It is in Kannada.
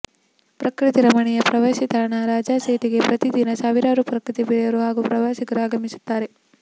ಪ್ರಕೃತಿ ರಮಣೀಯ ಪ್ರವಾಸಿತಾಣ ರಾಜಾಸೀಟಿಗೆ ಪ್ರತಿದಿನ ಸಾವಿರಾರು ಪ್ರಕೃತಿ ಪ್ರಿಯರು ಹಾಗೂ ಪ್ರವಾಸಿಗರು ಆಗಮಿಸುತ್ತಾರೆ